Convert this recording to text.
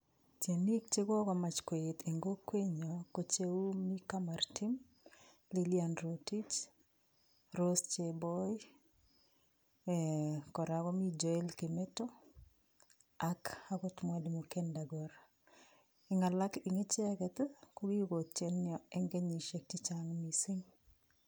Tienik chekokomach koet en kokwenyon ko kou Mika Maritim, Lillian Rotich, Rose Cheboin koraa komi Joel Kimeto ak okot Mwalimu Kendakor en alak en icheket ii kokikoi genuine en kenyishek chechang missing'.